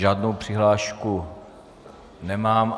Žádnou přihlášku nemám.